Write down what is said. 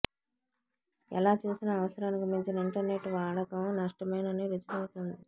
ఎలా చూసినా అవసరానికి మించిన ఇంటర్నెట్ వాడకం నష్టమేనని రుజువవుతోంది